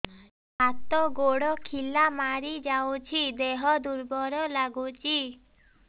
ହାତ ଗୋଡ ଖିଲା ମାରିଯାଉଛି ଦେହ ଦୁର୍ବଳ ଲାଗୁଚି